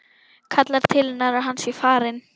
Kallar til hennar að hann sé farinn.